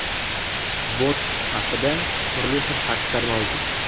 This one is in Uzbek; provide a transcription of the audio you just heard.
Botoks haqida turli xil fikrlar mavjud.